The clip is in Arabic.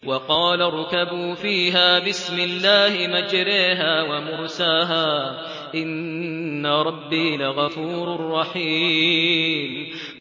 ۞ وَقَالَ ارْكَبُوا فِيهَا بِسْمِ اللَّهِ مَجْرَاهَا وَمُرْسَاهَا ۚ إِنَّ رَبِّي لَغَفُورٌ رَّحِيمٌ